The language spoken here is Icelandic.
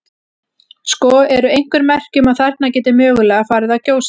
Sko, eru einhver merki um að þarna geti mögulega farið að gjósa?